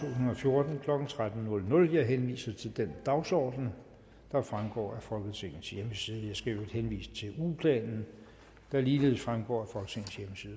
og fjorten klokken tretten jeg henviser til den dagsorden der fremgår af folketingets hjemmeside jeg skal i øvrigt henvise til ugeplanen der ligeledes fremgår